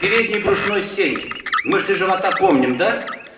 передней брюшной стенки мышцы живота помним да